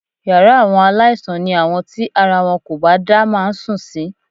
Yàrá àwọn aláìsàn ni àwọn tíara wọn kò bá dá máa ń sùn sí